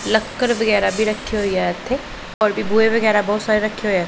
ਲੱਕੜ ਵਗੈਰਾ ਵੀ ਰੱਖਿਆ ਹੋਇਆ ਇੱਥੇ ਹੋਰ ਵੀ ਬੂਹੇ ਵਗੈਰਾ ਬਹੁਤ ਸਾਰੇ ਰੱਖੇ ਹੋਇਆ।